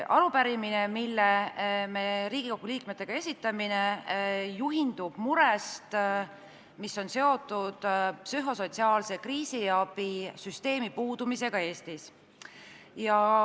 Arupärimine, mille me Riigikogu liikmetega esitame, juhindub murest, mis on seotud psühhosotsiaalse kriisiabi süsteemi puudumisega Eestis.